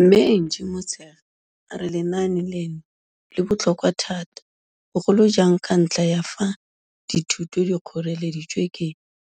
Mme Angie Motshekga a re lenaane leno le botlhokwa thata bogolojang ka ntlha ya fa dithuto di kgoreleditswe ke